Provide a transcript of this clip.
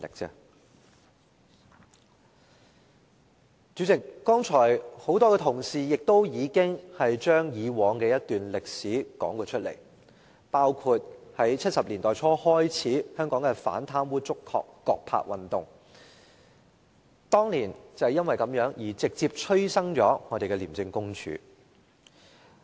代理主席，很多同事剛才已經將以往的一段歷史重溫，包括在1970年代初，香港的"反貪污、捉葛柏"運動，當年因為這樣而直接催生了廉署。